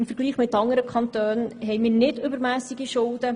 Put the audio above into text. Im Vergleich zu anderen Kantonen haben wir keine übermässig hohen Schulden.